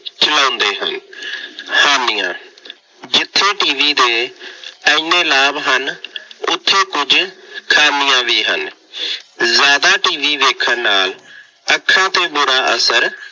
ਚਲਾਉਂਦੇ ਹਨ। ਹਾਨੀਆਂ- ਜਿੱਥੇ TV ਦੇ ਐਨੇ ਲਾਭ ਹਨ, ਉੱਥੇ ਕੁੱਝ ਖਾਮੀਆਂ ਵੀ ਹਨ। ਜ਼ਿਆਦਾ TV ਵੇਖਣ ਨਾਲ ਅੱਖਾਂ ਤੇ ਬੁਰਾ ਅਸਰ